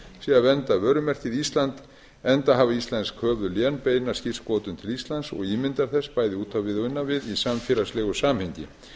að vernda vörumerkið ísland enda hafa íslensk höfuðlén beina skírskotun til íslands og ímyndar þess bæði út á við og inn á við í samfélagslegu samhengi